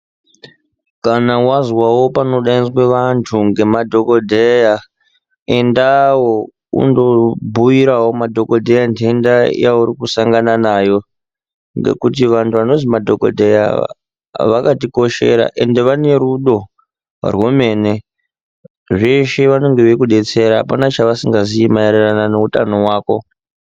Kana wazwawo panodaidzwe vantu ngemadhokodheya endawo undobhuyirawo madhokotera ndenda yauri kusangana nayo ngekuti vantu vanonzi madhokoteya ava vakatikoshera ende vane rudo rwemene. Zveshe vanenge veikudetsera. Hapana chavasingazivi maererano neutano hwako.